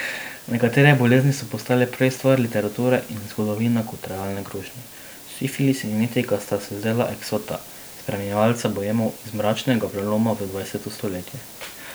Nekatere bolezni so postale prej stvar literature in zgodovine kot realna grožnja, sifilis in jetika sta se zdela eksota, spremljevalca boemov iz mračnega preloma v dvajseto stoletje.